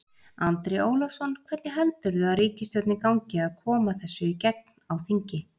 Andri Ólafsson: Hvernig heldurðu ríkisstjórninni gangi að koma þessu í gegn á þingi?